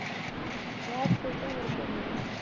ਬਸ ਕੁਸ਼ ਨੀ ਕਰਦੇ